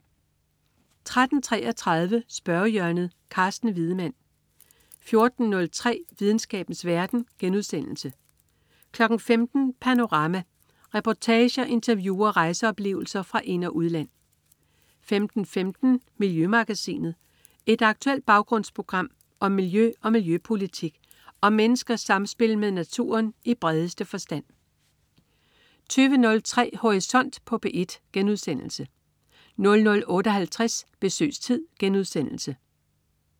13.33 Spørgehjørnet. Carsten Wiedemann 14.03 Videnskabens verden* 15.00 Panorama. Reportager, interview og rejseoplevelser fra ind- og udland 15.15 Miljømagasinet. Et aktuelt baggrundsprogram om miljø og miljøpolitik og om menneskers samspil med naturen i bredeste forstand 20.03 Horisont på P1* 00.58 Besøgstid*